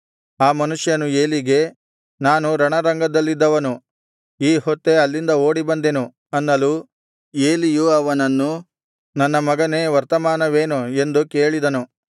ಆ ಮನುಷ್ಯನು ಏಲಿಗೆ ನಾನು ರಣರಂಗದಲ್ಲಿದ್ದವನು ಈ ಹೊತ್ತೇ ಅಲ್ಲಿಂದ ಓಡಿಬಂದೆನು ಅನ್ನಲು ಏಲಿಯು ಅವನನ್ನು ನನ್ನ ಮಗನೇ ವರ್ತಮಾನವೇನು ಎಂದು ಕೇಳಿದನು